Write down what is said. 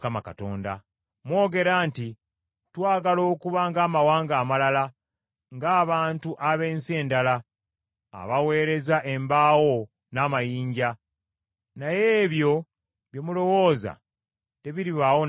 “ ‘Mwogera nti, “Twagala okuba ng’amawanga amalala, ng’abantu ab’ensi endala, abaweereza embaawo n’amayinja,” naye ebyo bye mulowooza tebiribaawo n’akatono.